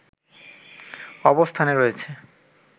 অবস্থানে রয়েছে